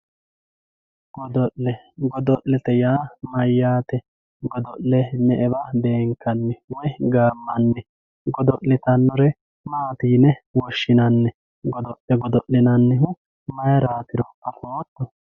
godo'le godo'lete yaa mayyaate godo'le me"ewa beenkanni woy gaammanni godo'litannore maati yine woshshinanni godo'le godo'linannihi mayraatiro afootto.